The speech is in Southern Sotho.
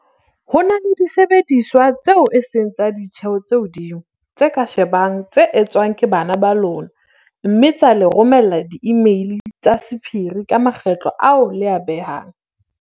"Ho na le disebediswa tseo e seng tsa ditjeho tse hodimo tse ka shebang tse etswang ke bana ba lona mme tsa le romella diimeili tsa sephiri ka makgetlo ao le a behang."